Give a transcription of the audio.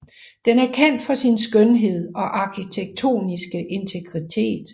Den er kendt for sin skønhed og arkitektoniske integritet